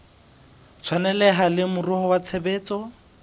tshwaneleha le moruo wa tshebetso